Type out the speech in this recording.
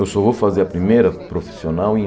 Eu só vou fazer a primeira profissional em